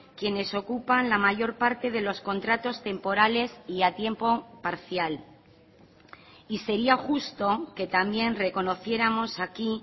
quienes ocupan la mayor parte de los contratos temporales y a tiempo parcial y sería justo que también reconociéramos aquí